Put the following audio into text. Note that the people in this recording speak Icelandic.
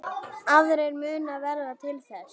Aðrir munu verða til þess.